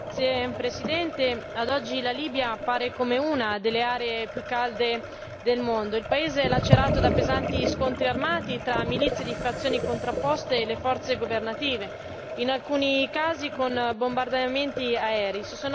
Signor Presidente, onorevoli colleghi, ad oggi la Libia appare come una delle aree più calde del mondo il paese è lacerato da pesanti scontri armati tra milizie di fazioni contrapposte e le forze governative, in alcuni casi con bombardamenti aerei.